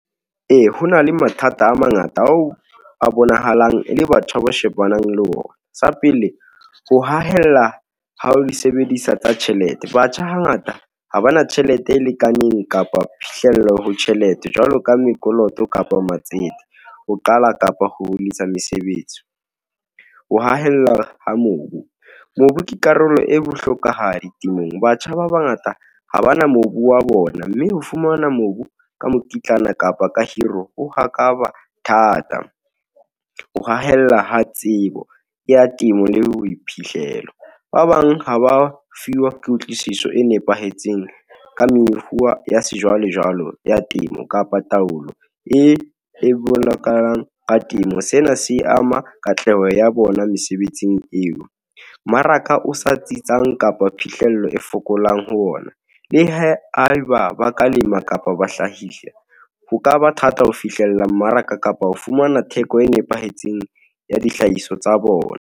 Ee, ho na le mathata a mangata ao a bonahalang e le batjha ba shebanang le ona. Sa pele, ho hahella ha ho di sebedisa tsa tjhelete, batjha hangata ha ba na tjhelete e lekaneng, kapa phihlello ho tjhelete, jwalo ka mekoloto kapo matsete, ho qala kapa ho yetsa mesebetsi, ho hahella ha mobu, mobu ke karolo e bohlokwahadi temong. Batjha ba bangata ha bana mobu wa bona, mme ho fumana mobu ka mokitlane kapa ka hiro o thata, ho hahella ha tsebo ya temo, le boiphihlelo. Ba bang ha ba fiwa kutlwisiso e nepahetseng, ka ya sejwalejwale ya temo, kapa taolo e bolokang ka temo. Sena se e ama katleho ya bona mesebetsing eo, maraka o sa tsitsang kapa phihlello e fokolang ho ona, le ha eba ba ka lema kapa ba hlahisa, ho ka ba thata ho fihlella mmaraka, kapa ho fumana theko e nepahetseng, ya dihlahiswa tsa bona.